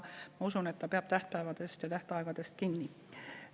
Ma usun, et ta peab tähtpäevadest ja tähtaegadest kinni.